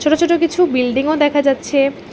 ছোট ছোট কিছু বিল্ডিংও দেখা যাচ্ছে।